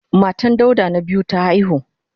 Matan Dauda na biyu ta haihu.